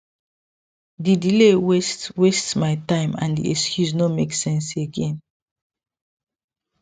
the delay waste waste my time and the excuse no make sense again